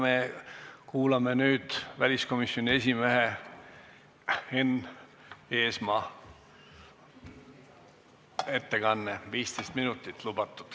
Me kuulame nüüd väliskomisjoni esimehe Enn Eesmaa ettekannet, selleks on lubatud 15 minutit.